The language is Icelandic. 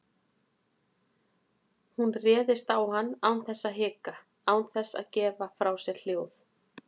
Hún réðst á hann án þess að hika, án þess að gefa frá sér hljóð.